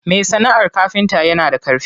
Me sana'ar kafinta yana da ƙarfi.